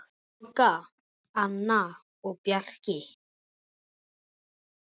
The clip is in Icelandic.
Olga, Anna og Bjarki.